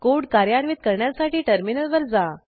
code कार्यान्वित करण्यासाठी टर्मिनलवर जा